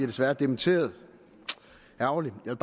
desværre dementeret ærgerligt jeg